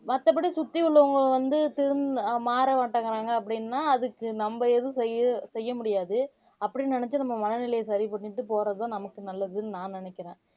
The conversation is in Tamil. மத்தபடி சுத்தி உள்ளவங்க வந்து திருந் மாற மாட்டேங்குறாங்க அப்படின்னா அதுக்கு நம்ம எதுவும் செய்ய செய்ய முடியாது அப்படின்னு நினைச்சு நம்ம மனநிலையை சரி பண்ணிட்டு போறதுதான் நமக்கு நல்லதுன்னு நான் நினைக்கிறேன்